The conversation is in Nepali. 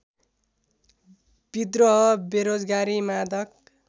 विद्रोह बेरोजगारी मादक